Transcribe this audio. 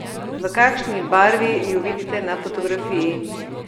V kakšni barvi ju vidite na fotografiji?